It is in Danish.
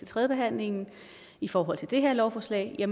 tredjebehandlingen i forhold til det her lovforslag